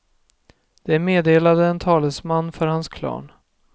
Det meddelade en talesman för hans klan.